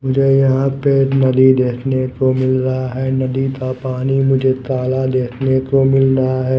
मुझे यहा पे नदी देखने को मिल रहा है नदी का पानी मुझे काला देखने को मिल रहा है।